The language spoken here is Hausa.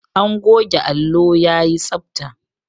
An goge allo yayi tsabta.